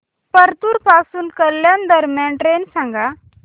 परतूर पासून कल्याण दरम्यान ट्रेन सांगा